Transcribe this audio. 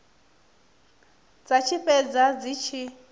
dza tshi fhedza dzi tshi